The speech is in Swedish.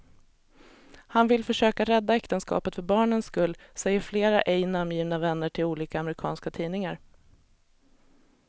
Han vill försöka rädda äktenskapet för barnens skull, säger flera ej namngivna vänner till olika amerikanska tidningar.